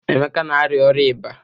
Emeka na arịa ọrịa iba.